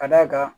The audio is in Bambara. Ka d'a kan